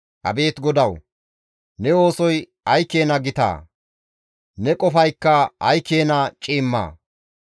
Abeet GODAWU! Ne oosoy ay keena gitaa! Ne qofaykka ay keena ciimmaa!